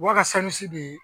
Wa ka san si de